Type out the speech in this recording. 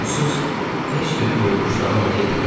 Onsuz heç bir quruluş davam eləyə bilməz.